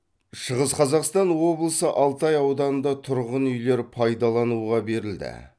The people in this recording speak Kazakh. шығыс қазақстан облысы алтай ауданында тұрғын үйлер пайдалануға берілді